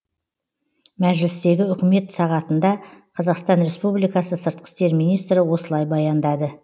мәжілістегі үкімет сағатында қазақстан республикасы сыртқы істер министрі осылай баяндады